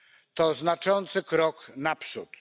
To znaczący krok naprzód.